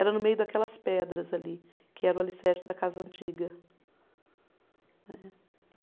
Era no meio daquelas pedras ali, que era o alicerce da casa antiga. Né